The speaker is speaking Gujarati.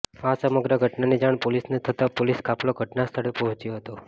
આ સમગ્ર ઘટનાની જાણ પોલીસને થતાં પોલીસ કાફલો ઘટનાસ્થળે પહોંચ્યો હતો